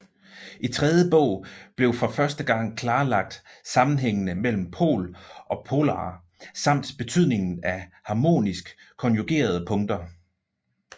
I tredje bog blev for første gang klarlagt sammenhængene mellem pol og polare samt betydningen af harmonisk konjugerede punkter